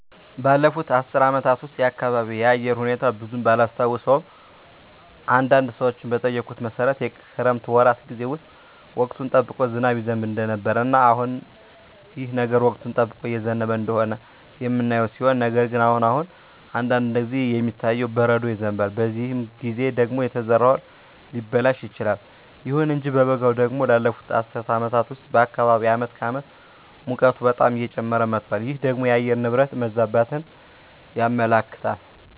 ባለፉት አስር አመታት ውስጥ የአካባቢየ የአየር ሁኔታ ብዙም ባላስታውሰውም አንዳንድ ሰዎችን በጠየኩት መሠረት የክረምት ወራት ጌዜ ውስጥ ወቅቱን ጠብቆ ዝናብ ይዘንብ እንደነበረ እና አሁንም ይህ ነገር ወቅቱን ጠብቆ እየዘነበ እንደሆነ የምናየው ሲሆን ነገር ግን አሁን አሁን አንዳንድ ጊዜ የሚታየው በረዶ ይዘንባል በዚህ ጊዜ ደግሞ የተዘራው እህል ሊበላሽ ይችላል። ይሁን እንጂ በበጋው ደግሞ ባለፋት አስር አመታት ውስጥ በአካባቢየ አመት ከአመት ሙቀቱ በጣም እየጨመረ መጧል ይህ ደግሞ የአየር ንብረት መዛባትን ያመለክታል